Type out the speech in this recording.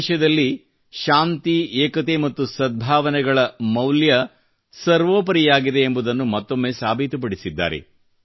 ದೇಶದಲ್ಲಿ ಶಾಂತಿ ಏಕತೆ ಮತ್ತು ಸದ್ಭಾವನೆಗಳ ಮೌಲ್ಯ ಸರ್ವೋಪರಿಯಾಗಿದೆ ಎಂಬುದನ್ನು ಮತ್ತೊಮ್ಮೆ ಸಾಬೀತುಪಡಿಸಿದ್ದಾರೆ